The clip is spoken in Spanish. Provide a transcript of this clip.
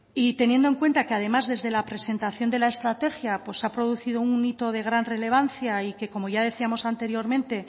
y teniendo en cuenta que además desde la presentación de la estrategia pues se ha producido un hito de gran relevancia y como ya decíamos anteriormente